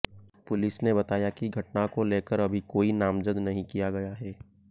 police ने बताया कि घटना को लेकर अभी कोई नामजद नहीं किया गया है